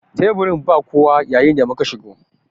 Teburin ba kowa yayin da muka shigo.